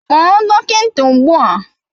Kpọọ dọkịta ugbu a!